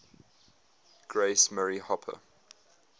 grace murray hopper